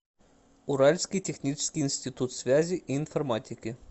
уральский технический институт связи и информатики